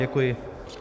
Děkuji.